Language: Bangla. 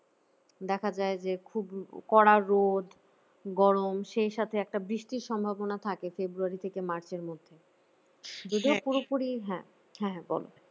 দেখা যায় যে খুবই কড়া রোদ গরম সেই সাথে একটা বৃষ্টির সম্ভাবনা থাকে february থেকে march এর মধ্যে যদিও পুরোপুরি হ্যাঁ হ্যাঁ বল